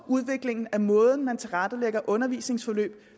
udviklingen af måden man tilrettelægger undervisningsforløb